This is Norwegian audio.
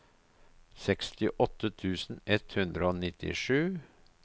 sekstiåtte tusen ett hundre og nittisju